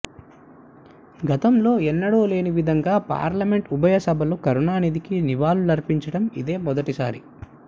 గతంలో ఎన్నడూ లేనివిధంగా పార్లమెంట్ ఉభయసభలు కరుణాధికి నివాళులు అర్పించడం ఇదే మొదటి సారి